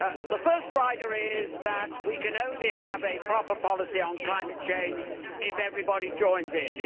The first rider is that we can only have a proper policy on climate change if everybody joins in.